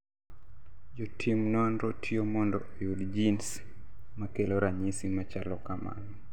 Jo tim nonro tiyo mondo oyud genes makelo ranyisi machalo kamano